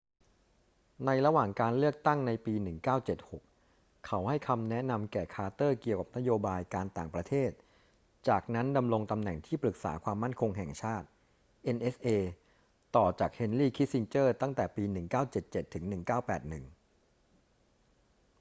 ในระหว่างการเลือกตั้งในปี 1976 เขาให้คำแนะนำแก่คาร์เตอร์เกี่ยวกับนโยบายการต่างประเทศ จากนั้นดำรงตำแหน่งที่ปรึกษาความมั่นคงแห่งชาติ nsa ต่อจากเฮนรี คิสซินเจอร์ ตั้งแต่ปี 1977 ถึง 1981